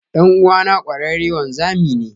Dan'uwana kwararre wanzami ne.